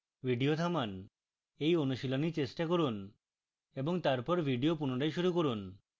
video থামান এই অনুশীলনী চেষ্টা করুন এবং তারপর video পুনরায় শুরু করুন